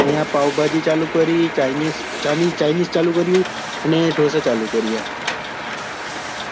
અહિયાં પાવભાજી ચાલુ કરી chinese ચાલ્યું કર્યું અને ઢોસા ચાલુ કર્યા